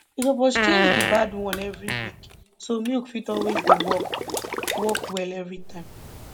you suppose change di bad one every week so milk fit always dey work work well every time